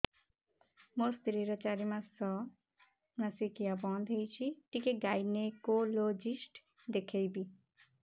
ମୋ ସ୍ତ୍ରୀ ର ଚାରି ମାସ ମାସିକିଆ ବନ୍ଦ ହେଇଛି ଟିକେ ଗାଇନେକୋଲୋଜିଷ୍ଟ ଦେଖେଇବି